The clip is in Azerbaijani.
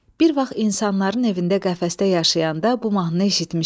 Bir vaxt insanların evində qəfəsdə yaşayanda bu mahnı eşitmışəm.